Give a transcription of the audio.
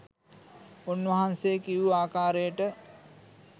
උන් වහන්සේ කියූ ආකාරයට